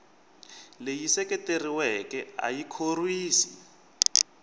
leyi seketeriweke a yi khorwisi